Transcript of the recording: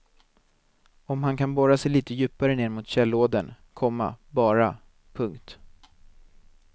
Om han kan borra sig lite djupare ner mot källådern, komma bara. punkt